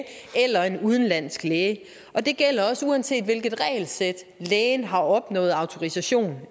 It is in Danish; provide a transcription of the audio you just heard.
eller en udenlandsk læge og det gælder også uanset hvilket regelsæt lægen har opnået autorisation